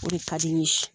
O de ka di n ye